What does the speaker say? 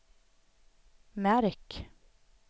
märk